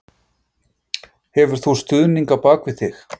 Hefur þú stuðning á bakvið þig?